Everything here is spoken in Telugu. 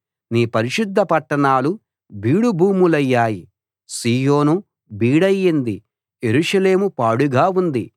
నీ పరిశుద్ధ పట్టణాలు బీడు భూములయ్యాయి సీయోను బీడయింది యెరూషలేము పాడుగా ఉంది